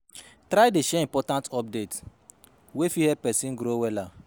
Try dey share important update wey fit help pesin grow wella